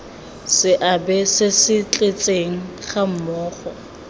seabe se se tletseng gammogo